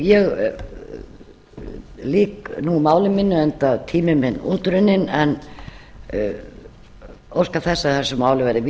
ég lýk nú máli mínu enda tími minn útrunninn en óska þess að þessu máli verði vísað